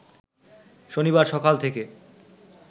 শনিবার সকাল থেকে